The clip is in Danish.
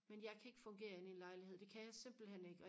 men jeg kan ikke fungere inde i en lejlighed det kan jeg simpelthen ikke